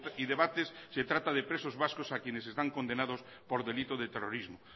y debates se trata de presos vascos a quienes están condenados por delito de terrorismo